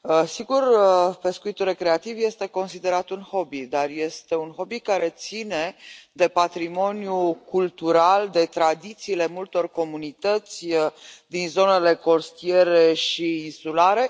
Sigur, pescuitul recreativ este considerat un hobby, dar este un hobby care ține de patrimoniul cultural, de tradițiile multor comunități din zonele costiere și insulare.